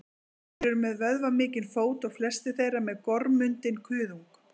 þeir eru með vöðvamikinn fót og flestir þeirra með gormundinn kuðung